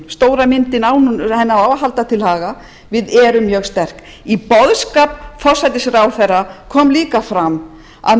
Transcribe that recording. stóra myndin stóru myndinni á að halda til haga við erum mjög sterk í boðskap forsætisráðherra kom líka fram að